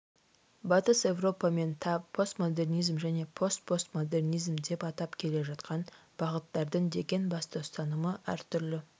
батыс еуропа мен та постмодернизм және постпостмодернизм деп атап келе жатқан бағыттардың деген басты ұстанымы әртүрлі